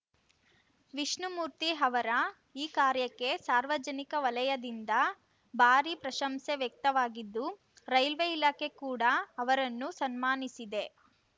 ವಿಷ್ಣುಮೂರ್ತಿ ಅವರ ಈ ಕಾರ್ಯಕ್ಕೆ ಸಾರ್ವಜನಿಕ ವಲಯದಿಂದ ಭಾರಿ ಪ್ರಶಂಸೆ ವ್ಯಕ್ತವಾಗಿದ್ದು ರೈಲ್ವೆ ಇಲಾಖೆ ಕೂಡ ಅವರನ್ನು ಸನ್ಮಾನಿಸಿದೆ